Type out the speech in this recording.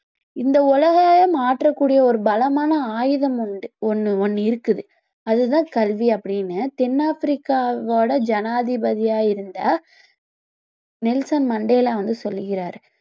இந்த உலகையே மாற்றக் கூடிய ஒரு பலமான ஆயுதம் வந்து ஒண்ணு ஒண்ணு இருக்குது அது தான் கல்வி அப்படின்னு தென் ஆப்பிரிக்காவோட ஜனாதிபதியா இருந்த நெல்சன் மண்டேலா வந்து சொல்லுகிறாரு